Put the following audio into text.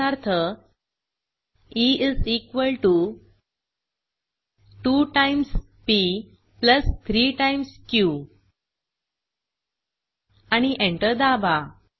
उदाहरणार्थ E is equal to 2 times P plus 3 times Q आणि enter दाबा